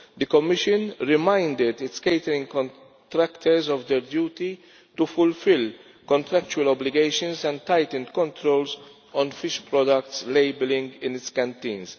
The Commission reminded its catering contractors of their duty to fulfil contractual obligations and tighten controls on fish product labelling in its canteens.